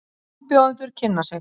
Frambjóðendur kynna sig